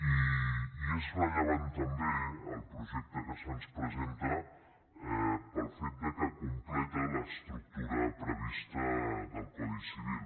i és rellevant també el projecte que se’ns presenta pel fet que completa l’estructura prevista del codi civil